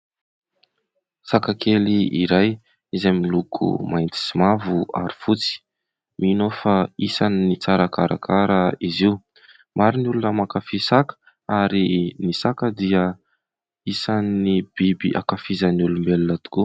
Saka kely iray izay miloko mainty sy mavo ary fotsy. Mino aho fa isan'ny tsara karakara izy io. Maro ny olona mankafy saka ary ny saka dia isan'ny biby ankafizin'ny olombelona tokoa.